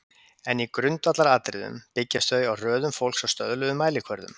En í grundvallaratriðum byggjast þau á röðun fólks á stöðluðum mælikvörðum.